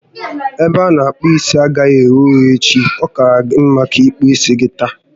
Ebe a ana akpu isi agaghi eghe oghe echi, ọ kaara gị mma na ị kpụrụ isi gị taa